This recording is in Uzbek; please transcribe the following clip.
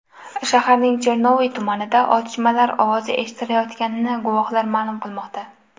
Shaharning Chernoviy tumanida otishmalar ovozi eshitilayotganini guvohlar ma’lum qilmoqda.